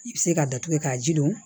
I bɛ se ka datugu k'a ji don